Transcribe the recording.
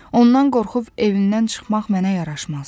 Ondan qorxub evindən çıxmaq mənə yaraşmaz.